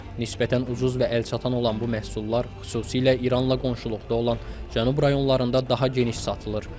Nisbətən ucuz və əlçatan olan bu məhsullar xüsusilə İranla qonşuluqda olan cənub rayonlarında daha geniş satılır.